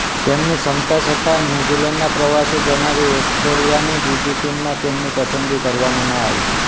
તેમની ક્ષમતા છતાં ન્યૂઝીલેન્ડના પ્રવાસે જનારી ઓસ્ટ્રેલિયાની બીજી ટીમમાં તેમની પસંદગી કરવામાં ન આવી